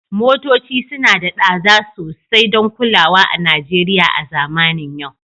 Motoci suna da tsada sosai don kulawa a Najeriya a zamanin yau